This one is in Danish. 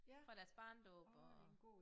Fra deres barnedåb og